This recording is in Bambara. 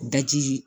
Daji